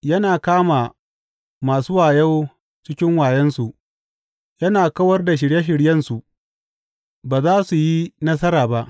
Yana kama masu wayo cikin wayonsu, yana kawar da shirye shiryensu ba za su yi nasara ba.